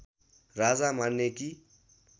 राजा मान्ने कि